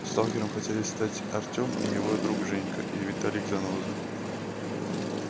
сталкером хотели стать и артём и его друг женька и виталик-заноза